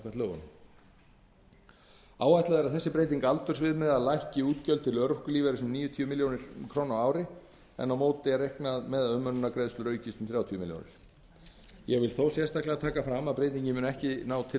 lögunum áætlað er að þessi breyting aldursviðmiða lækki útgjöld til örorkulífeyris um níutíu milljónir króna á ári en á móti er reiknað með að umönnunargreiðslur aukist um þrjátíu milljónir króna ég vil þó sérstaklega taka fram að breytingin mun ekki ná til